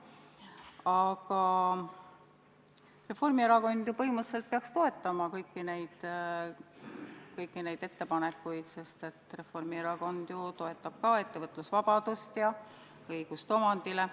Aga Reformierakond põhimõtteliselt peaks toetama kõiki neid ettepanekuid, sest Reformierakond ju toetab ka ettevõtlusvabadust ja õigust omandile.